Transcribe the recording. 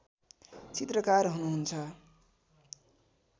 चित्रकार हुनुहुन्छ